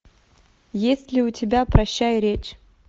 есть ли у тебя прощай речь